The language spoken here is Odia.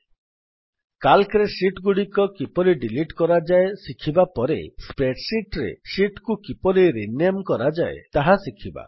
ସିଏଏଲସି ରେ ଶୀଟ୍ ଗୁଡିକ କିପରି ଡିଲିଟ୍ କରାଯାଏ ଶିଖିବା ପରେ Spreadsheetରେ ଶୀଟ୍ କୁ କିପରି ରିନେମ୍ କରାଯାଏ ତାହା ଶିଖିବା